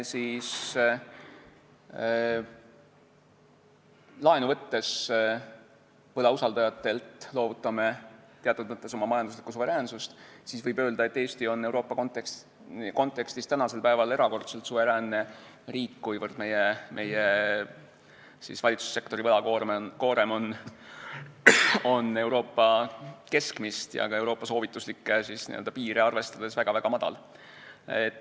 Kui me võlausaldajatelt laenu võttes loovutame teatud mõttes oma majanduslikku suveräänsust, siis võib öelda, et Eesti on Euroopa kontekstis praegu erakordselt suveräänne riik, kuivõrd meie valitsussektori võlakoorem on Euroopa keskmist ja ka Euroopa soovituslikke piire arvestades väga-väga väike.